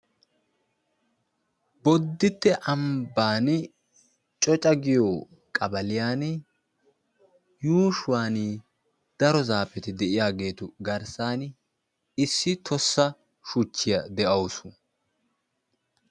Bodditte ambbaani Coca giyo qabaliyani yuushuwani daro zaafeti de'iyaageetu garssan issi tossa shuchchiya de'awusu.